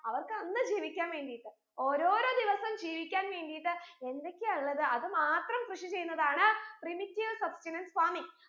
അവർക്ക് അന്ന് ജീവിക്കാൻ വേണ്ടീട്ട് ഓരോരോ ദിവസം ജീവിക്കാൻ വേണ്ടീട്ട് എന്തൊക്കെയാ ഉള്ളത് അത് മാത്രം കൃഷി ചെയ്യുന്നതാണ് primitive substenance farming